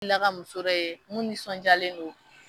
ka muso dɔ ye mun nisɔnjaalen do.